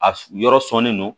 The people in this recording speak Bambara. A yɔrɔ sɔnnen don